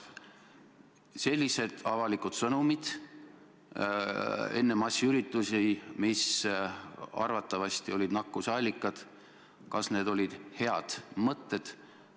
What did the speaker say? Kas sellised avalikud sõnumid enne massiüritusi, mis arvatavasti olid nakkuse allikad, olid head mõtted?